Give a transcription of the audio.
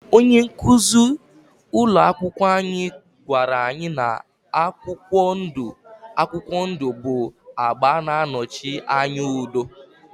Onye nkuzi ụlọ akwụkwọ anyị gwara anyị na akwụkwọ ndụ akwụkwọ ndụ bụ agba na-anọchi anya udo